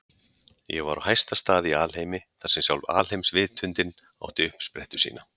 Ég var á hæsta stað í alheimi, þar sem sjálf alheimsvitundin átti uppsprettu sína.